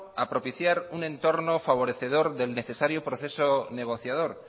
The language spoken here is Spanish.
a propiciar un entorno favorecedor del necesario proceso negociador